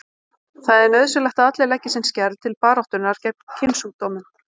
Það er nauðsynlegt að allir leggi sinn skerf til baráttunnar gegn kynsjúkdómum.